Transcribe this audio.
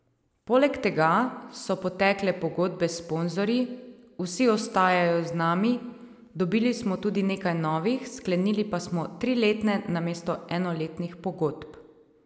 Poleg tega so potekle pogodbe s sponzorji, vsi ostajajo z nami, dobili smo tudi nekaj novih, sklenili pa smo triletne namesto enoletnih pogodb.